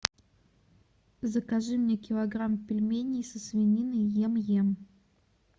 закажи мне килограмм пельменей со свининой ем ем